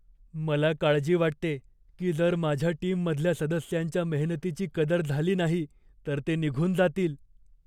मला काळजी वाटते की जर माझ्या टीममधल्या सदस्यांच्या मेहनतीची कदर झाली नाही तर ते निघून जातील.